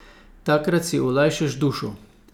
Takrat si olajšaš dušo.